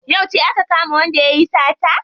Yauce aka kama wanda yayi sata?